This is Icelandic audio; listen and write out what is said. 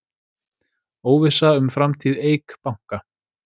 Óvissa um framtíð Eik Banka